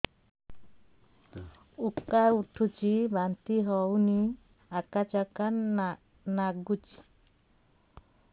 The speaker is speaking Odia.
ଉକା ଉଠୁଚି ବାନ୍ତି ହଉନି ଆକାଚାକା ନାଗୁଚି